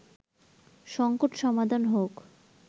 সংকট সমাধান হোক